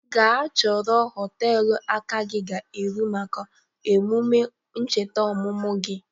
Ga chọrọ họteelụ aka gi ga-eru maka emụme ncheta ọmụmụ gi!